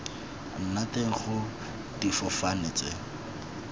nna teng ga difofane tse